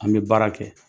An bɛ baara kɛ